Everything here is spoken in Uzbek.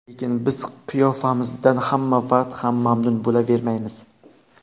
Lekin biz qiyofamizdan hamma vaqt ham mamnun bo‘lavermaymiz.